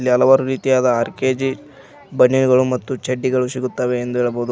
ಹೀಗೆ ಹಲವಾರು ರೀತಿಯಾದ ಆರ್_ಕೆ_ಜಿ ಬನಿಯಾನ್ಗಳು ಮತ್ತು ಚಡ್ಡಿಗಳು ಸಿಗುತ್ತವೆ ಎಂದು ಹೇಳಬಹುದು.